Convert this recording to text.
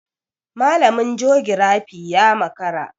Malamin jogirafi ya makara.